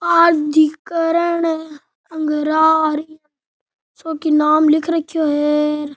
प्राधिकरण अंगरार सो की नाम लिख रखयो है।